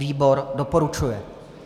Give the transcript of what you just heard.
Výbor Doporučuje.